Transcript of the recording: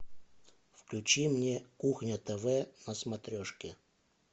включи мне кухня тв на смотрешке